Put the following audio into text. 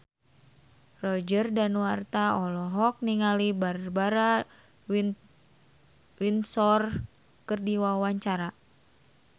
Roger Danuarta olohok ningali Barbara Windsor keur diwawancara